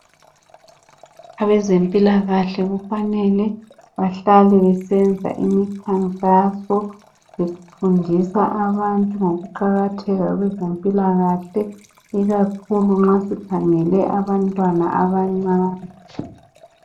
Abezempilakahle kufanele bahlale besenza imikhankaso befundisa abantu ngokuqakatheka kwezempilakahle ikakhulu nxa sikhangele abantwana abancane.